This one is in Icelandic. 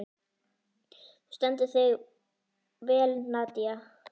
Þú stendur þig vel, Nadia!